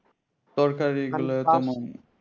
তরকারি গুলা